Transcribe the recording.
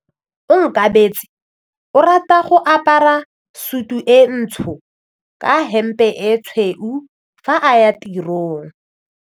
Onkabetse o rata go apara sutu e ntsho ka hempe e tshweu fa a ya tirong.